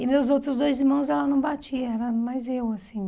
E meus outros dois irmãos ela não batia, era mais eu, assim.